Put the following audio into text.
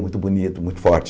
Muito bonito, muito forte.